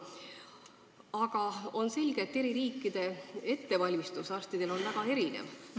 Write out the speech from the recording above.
Aga on ka selge, et eri riikides on arstide ettevalmistus väga erinev.